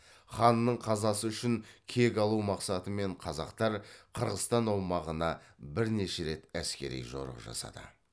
ханның қазасы үшін кек алу мақсатымен қазақтар қырғызстан аумағына бірнеше рет әскери жорық жасады